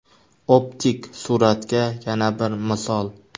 Optik suratga yana bir misol.